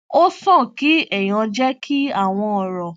ó sàn kí èèyàn jẹ kí àwọn ọrọ